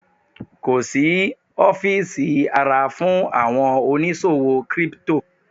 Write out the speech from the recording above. kò sí ọfiisi ti ara fún àwọn oníṣòwò crypto.